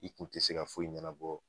I kun te se ka foyi ɲɛnabɔ